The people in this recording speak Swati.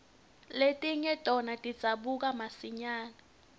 letinye tona tidzabuka masinyane